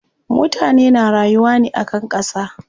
Mutane na rayuwa ne akan ƙasa.